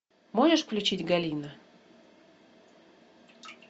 можешь включить галина